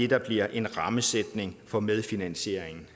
der bliver en rammesætning for medfinansieringen